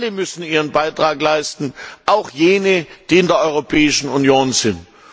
Alle müssen ihren Beitrag leisten, auch jene, die in der Europäischen Union sind.